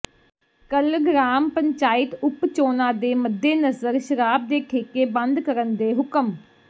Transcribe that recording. ਕੱਲ੍ਹ ਗ੍ਰਾਮ ਪੰਚਾਇਤ ਉਪ ਚੋਣਾਂ ਦੇ ਮੱਦੇਨਜ਼ਰ ਸ਼ਰਾਬ ਦੇ ਠੇਕੇ ਬੰਦ ਕਰਨ ਦੇ ਹੁਕਮ